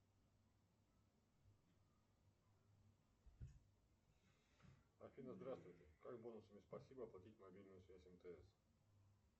афина здравствуйте как бонусами спасибо оплатить мобильную связь мтс